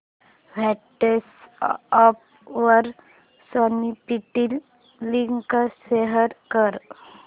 WhatsApp वर Snapdeal link share कर